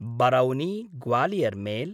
बरौनि–ग्वालियर् mail